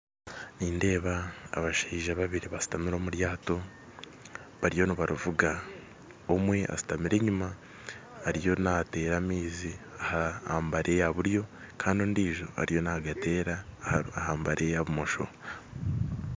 Nindeeba abashaija babiri basitami omuryato bariyo nibarivuga, omwe ashutami enyima , Ariyo nateera amaizi aha mbari yaburyo Kandi ondiijo ariyo nagateera aha mbari yabumosho